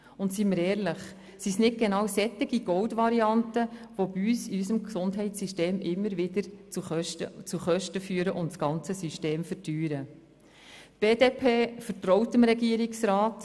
Seien wir ehrlich: Sind es nicht gerade solche Gold-Varianten, die in unserem Gesundheitssystem immer wieder zu Kosten führen und das ganze System verteuern?